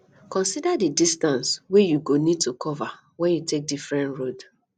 consider di distance wey you go need to cover when you take different road